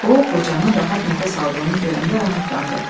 O qocanın rahat nəfəs aldığını görəndə rahatlandı.